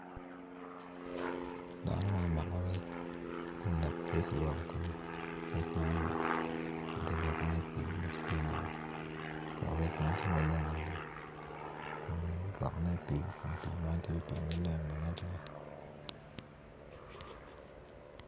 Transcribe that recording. Dano ma omako rec kun dok tye ka lwoko kome rec man gitye lwoko ne i nget pi nam kun rec man tye maleng adada kun bene kiketo ne i pi kun pi man tye maleng adada.